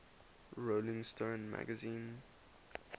rolling stone magazine